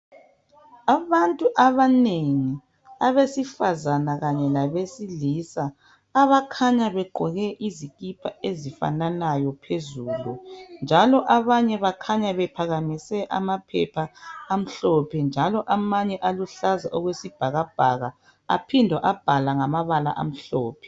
Abantu abanengi abesifazana kanye labesilisa abakhanya begqoke ezifananayo phezulu. Njalo abanye bakhanya bephakamise amaphepha amhlophe njalo amanye aluhlaza okwesibhakabhaka aphindwa abhalwa ngamabala amhlophe.